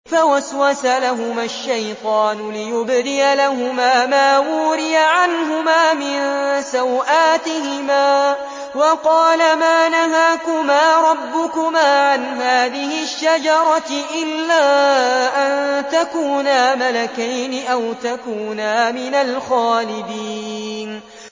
فَوَسْوَسَ لَهُمَا الشَّيْطَانُ لِيُبْدِيَ لَهُمَا مَا وُورِيَ عَنْهُمَا مِن سَوْآتِهِمَا وَقَالَ مَا نَهَاكُمَا رَبُّكُمَا عَنْ هَٰذِهِ الشَّجَرَةِ إِلَّا أَن تَكُونَا مَلَكَيْنِ أَوْ تَكُونَا مِنَ الْخَالِدِينَ